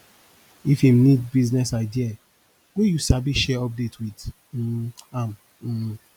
if em nid business idea wey yu sabi share update wit um am um